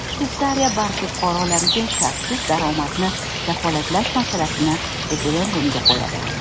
Shveysariya barcha fuqarolariga shartsiz daromadni kafolatlash masalasini referendumga qo‘yadi.